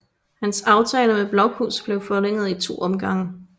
Hans aftale med Blokhus blev forlænget i to omgange